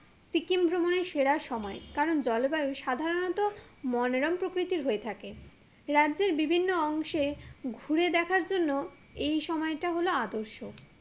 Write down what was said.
সিকিম ভ্রমণের সেরা সময় কারণ জলবায়ু সাধারণত মনোরম প্রকৃতির হয়ে থাকে রাজ্যের বিভিন্ন অংশে ঘুরে দেখার জন্য এই সময়টা হলো আদর্শ